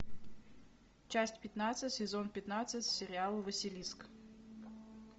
часть пятнадцать сезон пятнадцать сериал василиск